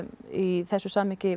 í þessu samhengi